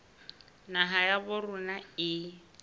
naha ya habo rona e